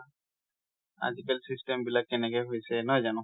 আজিকালী system বিলাক কেনেকে হয়ছে, নহয় যানো?